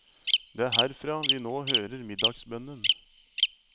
Det er herfra vi nå hører middagsbønnen.